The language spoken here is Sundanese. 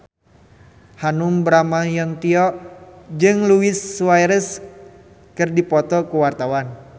Hanung Bramantyo jeung Luis Suarez keur dipoto ku wartawan